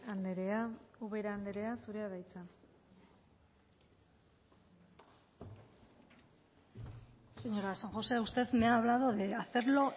andrea ubera andrea zurea da hitza señora san josé usted me ha hablado de hacerlo